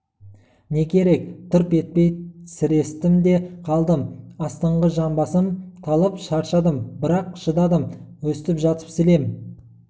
не керек тырп етпей сірестім де қалдым астыңғы жамбасым талып шаршадым бірақ шыдадым өстіп жатып сілем